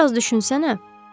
Bir az düşünsənə.